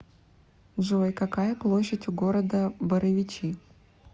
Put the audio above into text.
джой какая площадь у города боровичи